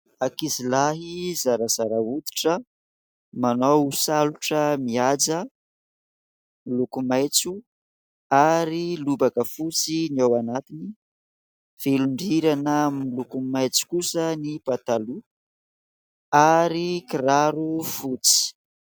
Ankizilahy zarazara hoditra. Manao salotra mihaja, miloko maitso ary lobaka fotsy ny ao anatiny. Velon-drirana miloko maitso kosa ny pataloha ary kiraro fotsy.